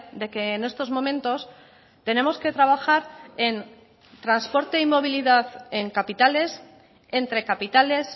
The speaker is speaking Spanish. de que en estos momentos tenemos que trabajar en transporte y movilidad en capitales entre capitales